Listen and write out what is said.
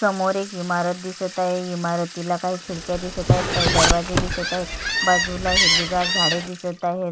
समोर एक इमारत दिसत आहे इमारतीला काही खिडक्या दिसत आहेत काही दरवाजे दिसत आहेत बाजूला हिरवीगार झाडे दिसत आहेत.